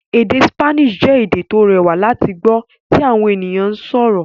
Èdè Spanish jẹ́ èdè tó rẹwà láti gbọ́ tí àwọn ènìyàn ń sọ̀rọ̀